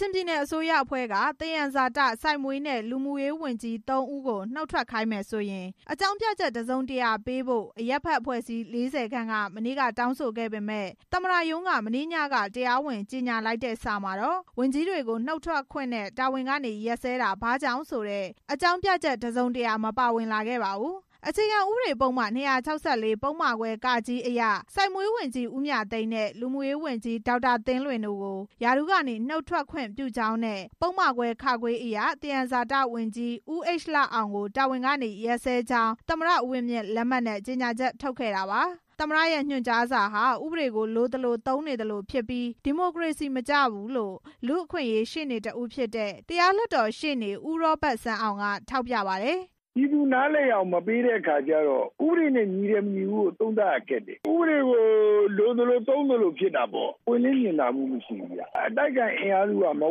ချင်ပြည်နယ်အစိုးရအဖွဲ့က သယံဇာတ၊ စိုက်မွေးနဲ့ လူမှုရေးဝန်ကြီး စတဲ့ ၃ ဦးကို နုတ်ထွက်ခိုင်းမယ်ဆိုရင် အကြောင်းပြချက် တစ်စုံတစ်ရာပေးဖို့ အရပ်ဖက်အဖွဲ့အစည်း ၄၀ ခန့်က မနေ့က တောင်းဆိုခဲ့ပေမယ့် သမ္မတရုံးက မနေ့ညက တရားဝင်ကြေညာလိုက်တဲ့စာမှာတော့ ဝန်ကြီးတွေကို နုတ်ထွက်ခွင့်နဲ့ တာဝန်ကနေ ရပ်စဲတာ ဘာကြောင့်ဆိုတဲ့ အကြောင်းပြချက် တစ်စုံတစ်ရာ မပါဝင်လာခဲ့ပါဘူး။ အခြေခံဥပဒေပုဒ်မ ၂၆၄ ပုဒ်မခွဲ အရ စိုက်မွေးဝန်ကြီး ဦးမြသိန်းနဲ့ လူမှုရေးဝန်ကြီး ဒေါက်တာသင်းလွင် တို့ကို ရာထူးကနေ နုတ်ထွက်ခွင့်ပြုကြောင်းနဲ့ ပုဒ်မခွဲ အရ သယံဇာတဝန်ကြီး ဦးHလအောင်ကို တာဝန် ကနေ ရပ်စဲကြောင်းသာ သမ္မတ ဦးဝင်းမြင့် လက်မှတ်နဲ့ ကြေညာချက်ထုတ်ခဲ့တာပါ။ သမ္မတရဲ့ ညွှန်ကြားစာဟာ ဥပဒေကိုလိုသလို အသုံးပြုသလိုဖြစ်နေပြီး ဒီမိုကရေစီမကျဘူးလို့ လူ့အခွင့်အရေး ရှေ့နေတစ်ဦးဖြစ်တဲ့ တရားလွှတ်တော်ရှေ့နေ ဦးရောဘတ်စန်းအောင် က ထောက်ပြပါတယ်။ ပြောတဲ့အခါကျတော့ ဥပဒေနဲ့ ညီတယ် မညီဘူးဆိုတာ ပြောရခက်တယ်။ ဥပဒေကို လိုသလိုသုံးသလိုဖြစ်တာပေါ့။ ပွင့်လင်းမြင်သာမှုမရှိဘူးဗျ။ အတိုက်အခံအင်အားစုက မ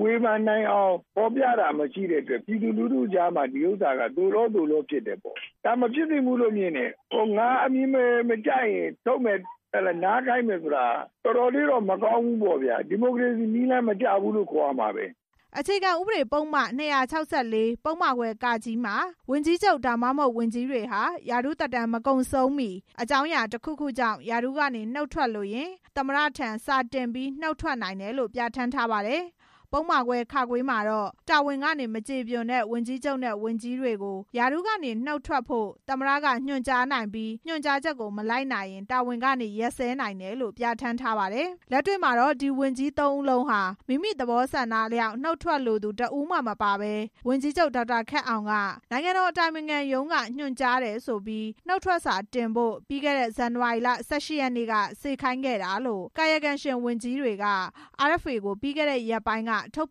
ဝေဖန်နိုင်အောင် ဖော်ပြတာ ဒါမဖြစ်သင့်ဘူးလို့ မြင်တယ်။ ငါအမြင်မကျရင်ထုတ်မယ်။ နားခိုင်းမယ်ဆိုတာ တော်တော်လေးတော့ မကောင်းဘူးပေါ့။ ဒီမိုကရေစီနည်းလမ်းမကျဘူးလို့ အခြေခံဥပဒေပုဒ်မ ၂၆၄ ပုဒ်မခွဲ မှာ ဝန်ကြီးချုပ် ဒါမှမဟုတ် ဝန်ကြီးတွေဟာ ရာထူးသက်တမ်း မကုန်ဆုံးမီ အကြောင်းအရာတစ်ခုခုကြောင့် ရာထူးကနေ နုတ်ထွက်လိုရင် သမ္မတထံ စာတင်ပြီး နုတ်ထွက်နိုင်တယ်လို့ ပြဌာန်းထားပါတယ်။ ပုဒ်မခွဲ မှာတော့ တာဝန်ကနေ မကျေပွန်တဲ့ ဝန်ကြီးချုပ်နဲ့ ဝန်ကြီးတွေကို ရာထူးကနေ နုတ်ထွက်ဖို့ သမ္မတက ညွန်ကြားနိုင်ပြီး ညွှန်ကြားချက်ကို မလိုက်နာရင် တာဝန်ကနေ ရပ်စဲနိုင်တယ်လို့ ပြဌာန်းထားပါတယ်။ လက်တွေ့မှာတော့ ဒီဝန်ကြီး ၃ ဦးလုံးဟာ မိမိသဘောဆန္ဒအလျောက်နုတ်ထွက်လိုသူ တစ်ဦးမှမပါဘဲ ဝန်ကြီးချုပ် ဒေါက်တာခက်အောင်က နိုင်ငံတော်အတိုင်ပင်ခံရုံးက ညွှန်ကြားတယ်ဆိုပြီး နုတ်ထွက်စာတင်ဖို့ ပြီးခဲ့တဲ့ ဇန်နဝါရီလ ၁၈ ရက်နေ့က စေခိုင်းခဲ့တာလို့ ကာယကံရှင်ဝန်ကြီးတွေက RFA ကို ပြီးခဲ့တဲ့ရက်ပိုင်းက ထုတ်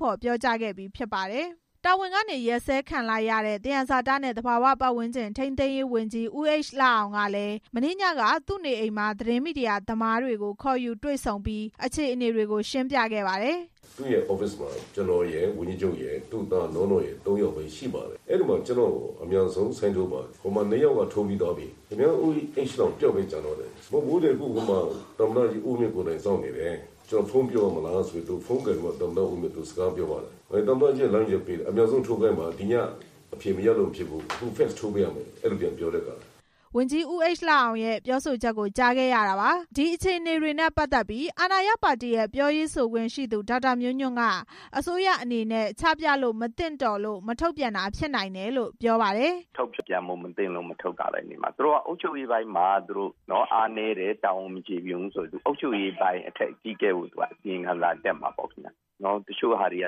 ဖော်ပြောကြားခဲ့ပြီး ဖြစ်ပါတယ်။ တာဝန်ကနေ ရပ်စဲခံလိုက်ရတဲ့ သယံဇာတနဲ့ သဘာဝပတ်ဝန်းကျင် ထိန်းသိမ်းရေးဝန်ကြီး ဦးHလအောင်ကလည်း မနေ့ညက သူ့နေအိမ်မှာ သတင်းမီဒီယာသမားတွေကို ခေါ်ယူတွေ့ဆုံခဲ့ပြီး အခြေအနေတွေ ကို ရှင်းပြခဲ့ပါတယ်။ ကျနော်ရယ်၊ ဝန်ကြီးချုပ်ရယ်၊ သူ့သားနောနော်ရယ် ၃ ယောက်ပဲရှိပါတယ်။ အဲဒီမှာ ကျနော့်ကို အမြန်ဆုံးလက်မှတ်ထိုးပါ။ ဟိုမှာနှစ်ယောက်က ထိုးပြီးသွားပြီ။ ဦးHလအောင်တစ်ယောက်ပဲ ကျန်တော့တယ်။ ဟိုမှာ သမ္မတကြီးဦးဝင်းမြင့် ကိုယ်တိုင်စောင့်နေတယ်။ ဖုန်းပြောမလားဆိုပြီး သူ့က နောက်တစ်ဦးနဲ့ စကားပြော တယ်။ သမ္မတကြီးက လမ်းညွှန်တယ်။ အမြန်ဆုံးထိုးခိုင်းပါ။ ဒီည အဖြေမရလို့မဖြစ်ဘူး။ ဖက်စ်ထိုးပေးရမယ်။ ဝန်ကြီး ဦးHလအောင်ရဲ့ ပြောဆိုချက်ကို ကြားခဲ့ရတာပါ။ ဒီလိုအခြေအနေတွေနဲ့ပတ်သက်ပြီး အာဏာရ NLD ပါတီ ပြောရေးဆိုခွင့်ရှိသူ ဒေါက်တာမျိုးညွန့်က မထုတ်ပြန်တာပဲနေမှာ။ သူတို့က အုပ်ချုပ်ရေးပိုင်းမှာ အားနည်းတယ်၊ တာဝန်မကျေပွန် ဘူးဆိုရင် အုပ်ချုပ်ရေးပိုင်းအကြီးအကဲကို အစီရင်ခံစာတက်မှာပေါ့ဗျ။ တချို့ဟာတွေက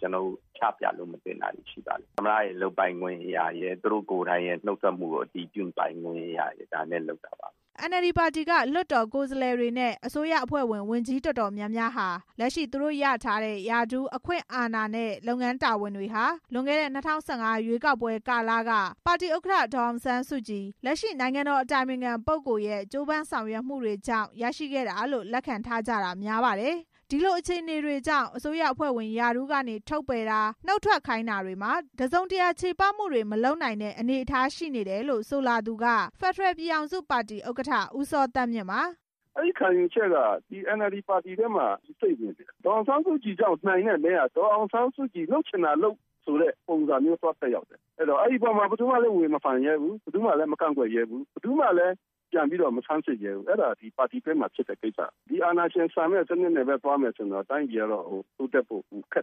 ကျနော်တို့ချပြလို့မသင့်တာရှိပါတယ်။ သမ္မတရဲ့ လုပ်ပိုင်ခွင့်အရရယ်၊ သူတို့ကိုယ်တိုင်ရဲ့ နုတ်ထွက်ခွင့်ကို အတည်ပြုပိုင်ခွင့်အရရယ် NLD ပါတီက လွှတ်တော်ကိုယ်စားလှယ်တွေနဲ့ အစိုးရအဖွဲ့ဝင် ဝန်ကြီးတော်တော်များများဟာ လက်ရှိသူတို့ ရရှိထားတဲ့ ရာထူး၊ အခွင့်အာဏာနဲ့ လုပ်ငန်းတာဝန်တွေဟာ လွန်ခဲ့တဲ့ ၂၀၁၅ ရွေးကောက်ပွဲကာလက ပါတီ ဥက္ကဋ္ဌ ဒေါ်အောင်ဆန်းစုကြည် လက်ရှိနိုင်ငံတော်အတိုင်ပင်ခံပုဂ္ဂိုလ်ရဲ့ ကြိုးပမ်းဆောင်ရွက်ခဲ့မှုတွေကြောင့်သာ ရရှိခဲ့တာလို့ လက်ခံထားကြတာ များပါတယ်။ ဒီလိုအခြေအနေတွေကြောင့် အစိုးရအဖွဲ့ဝင် ရာထူးကနေ ထုတ်ပယ်တာ၊ နုတ်ထွက်ခိုင်းတာတွေမှာ တစ်စုံတစ်ရာ ချေပမှုတွေမလုပ်နိုင်တဲ့ အနေအထားတွေရှိနေတယ်လို့ ဆိုလာသူက ဖက်ဒရယ်ပြည်ထောင်စုပါတီဥက္ကဋ္ဌ ဦးစောသန်းမြင့်ပါ။ အန်အယ်လ်ဒီပါတီထံမှာ စိမ့်ဝင်နေတယ်။ ဒေါ်အောင်ဆန်းစုကြည့်ကြောင့် နိုင်တဲ့မဲက ဒေါ်အောင်ဆန်းစုကြည် လုပ်ချင်တာလုပ်ဆိုတဲ့သဘော သက်ရောက်နေတယ်။ အဲဒီပေါ်မှာ ဘယ်သူမှမဝေဖန် ရဲဘူး။ မကန့်ကွက်ရဲဘူး။ မဆန်းစစ်ရဲဘူး။ အဲဒါပါတီတွင်းမှာဖြစ်တဲ့ကိစ္စ။ အာဏာရှင်ဆန်တဲ့စနစ်နဲ့ပဲ သွားမယ်ဆိုရင် တိုင်းပြည်က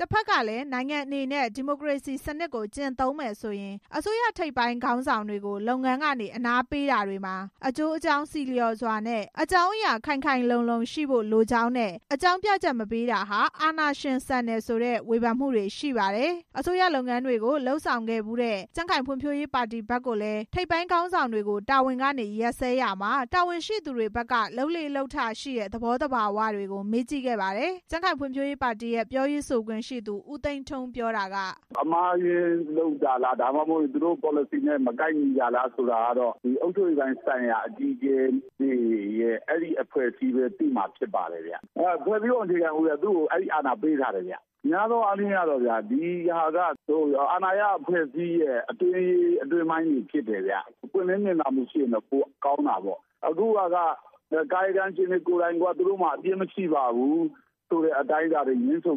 တဖက်ကလည်း နိုင်ငံအနေနဲ့ ဒီမိုကရေစီစနစ်ကို ကျင့်သုံးမယ်ဆိုရင် အစိုးရထိပ်ပိုင်းခေါင်းဆောင်တွေကို လုပ်ငန်းတာဝန်ကနေ အနားပေးတာတွေမှာ အကျိုးအကြောင်းဆီလျော်စွာနဲ့ အကြောင်းအရာ ခိုင်ခိုင်လုံလုံရှိဖို့လိုကြောင်းနဲ့ အကြောင်းပြချက်မပေးတာဟာ အာဏာရှင်ဆန်တယ်ဆိုတဲ့ ဝေဖန်ချက်တွေ ရှိပါတယ်။ အစိုးရလုပ်ငန်းတာဝန်တွေကို လုပ်ဆောင်ခဲ့ဖူးတဲ့ ကြံ့ခိုင်ဖွံ့ဖြိုးရေးပါတီဘက်ကိုလည်း ထိပ်ပိုင်းခေါင်းဆောင်တွေကို တာဝန်ကနေရပ်စဲရာမှာ တာဝန်ရှိသူတွေဘက်က လုပ်လေ့လုပ်ထရှိတဲ့ သဘောသဘာဝတွေ ကို မေးကြည့်ခဲ့ပါတယ်။ ကြံခိုင်ဖွံ့ဖြိုးရေးပါတီရဲ့ ပြောရေးဆိုခွင့်ရှိသူ ဦးသိန်းထွန်းဦး ပြောတာက ဒါမှမဟုတ်ရင် သူတို့ပေါ်လစီနဲ့ မကိုက်ညီတာလားဆိုတာကတော့ အုပ်ချုပ်ရေးပိုင်း ဆိုင်ရာ အကြီးအကဲတွေနဲ့ အဲအဖွဲ့အစည်းပဲသိမယ်။ ဖွဲ့စည်းပုံအခြေခံဥပဒေက သူ့ကိုအဲအာဏာပေးထားတယ်။ များသောအားဖြင့် ဒီဟာက အာဏာရအဖွဲ့အစည်းရဲ့အတွင်းရေး အတွင်းပိုင်းတွေဖြစ်တယ်ဗျ။ ပွင့်လင်းမြင်သာမှု ရှိရင်တော့ ပိုကောင်းမယ်ဗျ။ အခုဟာက ကာယကံရှင်တွေ ကိုယ်တိုင်က သူတို့မှာအပြစ်မရှိပါဘူးဆိုတဲ့ ငြင်းဆို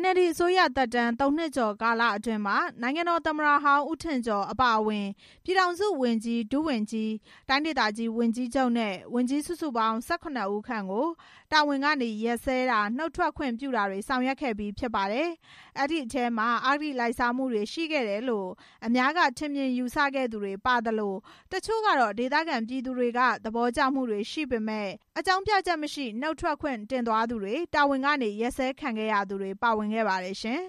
NLD အစိုးရလက်ထက် ၃ နှစ်ကျော်ကာလအတွင်းမှာ နိုင်ငံတော်သမ္မတဟောင်း ဦးထင်ကျော် အပါအဝင် ပြည်ထောင်စုဝန်ကြီး၊ ဒုဝန်ကြီး၊ တိုင်းဒေသကြီး ဝန်ကြီးချုပ်နဲ့ ဝန်ကြီး စုစုပေါင်း ၁၇ ဦးခန့်ကို တာဝန်ကနေရပ်စဲတာ၊ နုတ်ထွက်ခွင့်ပြုတာတွေ ဆောင်ရွက်ခဲ့ပြီးဖြစ်ပါတယ်။ အဲဒီထဲမှာ အဂတိလိုက်စားမှုတွေရှိခဲ့တယ်လို့ အများက ထင်မြင်ယူဆခဲ့သူတွေပါသလို တချို့ကတော့ ဒေသခံပြည်သူတွေက သဘောကျမှုတွေရှိပေမယ့် အကြောင်းပြချက်မရှိ နုတ်ထွက်ခွင့်တင်သွားသူတွေ၊ တာဝန်ကနေ ရပ်စဲခံခဲ့ရသူတွေ ပါဝင်ခဲ့ပါတယ်ရှင်